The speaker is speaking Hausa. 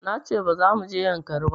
Na ce ba za mu je yankari ba